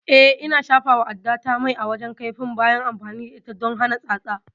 Eh, Ina shafawa addata mai a wajen kaifin bayan amfani da ita don hana tsatsa